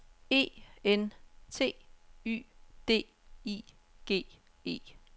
E N T Y D I G E